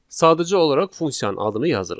Sadəcə olaraq funksiyanın adını yazırıq.